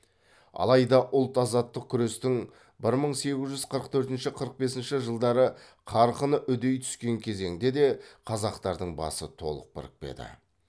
алайда ұлт азаттық күрестің бір мың сегіз жүз қырық төртінші қырық бесінші жылдары қарқыны үдей түскен кезеңде де қазақтардың басы толық бірікпеді